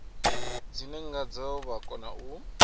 dzine ngadzo vha kona u